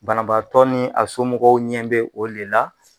Banabaatɔ ni a somɔgɔw ɲɛ be o de la